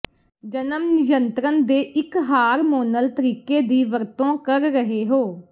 ਜਨਮ ਨਿਯੰਤਰਣ ਦੇ ਇੱਕ ਹਾਰਮੋਨਲ ਤਰੀਕੇ ਦੀ ਵਰਤੋਂ ਕਰ ਰਹੇ ਹੋ